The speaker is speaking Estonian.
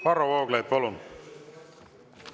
Varro Vooglaid, palun!